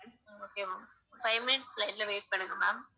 ஹம் okay ma'am five minutes line ல wait பண்ணுங்க ma'am